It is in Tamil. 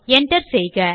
enter செய்க